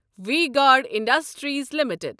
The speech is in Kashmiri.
V Guard Industries limited